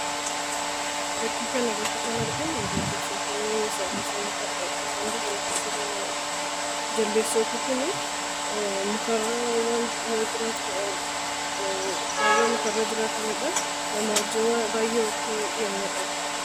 Fakkii kanarratti kan arginu jaldeessonni yeroo bosona keessa deemanidha. Jaldeessonni kun mukarra yeroo mukarra jiraatanidha nama wajjin baay'ee walitti dhiheenya qabu.